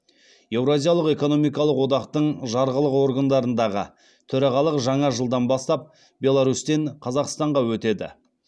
еуразиялық экономикалық одақтың жарғылық органдарындағы төрағалық жаңа жылдан бастап беларусьтен қазақстанға өтеді